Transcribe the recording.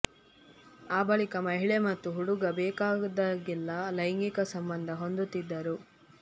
ಆ ಬಳಿಕ ಮಹಿಳೆ ಮತ್ತು ಹುಡುಗ ಬೇಕಾದಗೆಲ್ಲ ಲೈಂಗಿಕ ಸಂಬಂಧ ಹೊಂದುತ್ತಿದ್ದರು